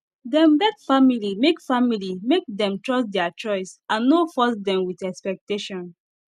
dem beg family make family make dem trust their choice and no force dem with expectation